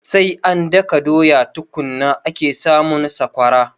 Sai an daka doya tukunna ake samun sakwara